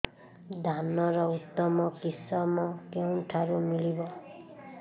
ଧାନର ଉତ୍ତମ କିଶମ କେଉଁଠାରୁ ମିଳିବ